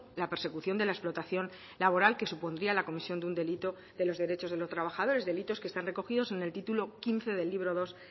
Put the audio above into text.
la persecución de la explotación laboral que supondría la comisión de un delito de los derechos de los trabajadores delitos que están recogidos en el titulo quince del libro dos